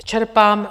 Čerpám -